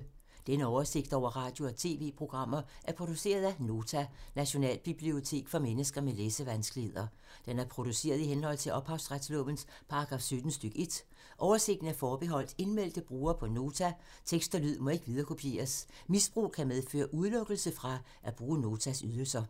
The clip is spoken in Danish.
Denne oversigt over radio og TV-programmer er produceret af Nota, Nationalbibliotek for mennesker med læsevanskeligheder. Den er produceret i henhold til ophavsretslovens paragraf 17 stk. 1. Oversigten er forbeholdt indmeldte brugere på Nota. Tekst og lyd må ikke viderekopieres. Misbrug kan medføre udelukkelse fra at bruge Notas ydelser.